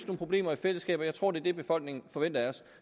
problemer i fællesskab og jeg tror det er det befolkningen forventer af os